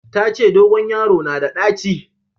Ta ce dogon yaro na da ɗaci